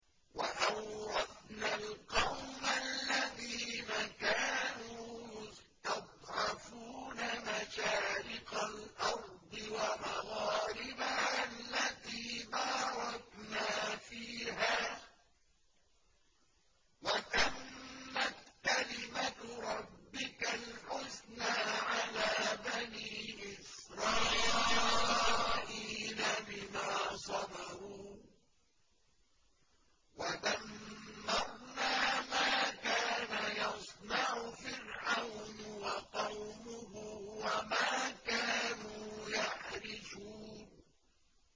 وَأَوْرَثْنَا الْقَوْمَ الَّذِينَ كَانُوا يُسْتَضْعَفُونَ مَشَارِقَ الْأَرْضِ وَمَغَارِبَهَا الَّتِي بَارَكْنَا فِيهَا ۖ وَتَمَّتْ كَلِمَتُ رَبِّكَ الْحُسْنَىٰ عَلَىٰ بَنِي إِسْرَائِيلَ بِمَا صَبَرُوا ۖ وَدَمَّرْنَا مَا كَانَ يَصْنَعُ فِرْعَوْنُ وَقَوْمُهُ وَمَا كَانُوا يَعْرِشُونَ